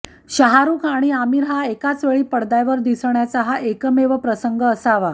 शाहरुख आणि आमिर एकाच वेळी पडद्यावर दिसण्याचा हा एकमेव प्रसंग असावा